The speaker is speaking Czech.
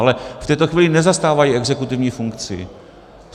Ale v tuto chvíli nezastávají exekutivní funkci.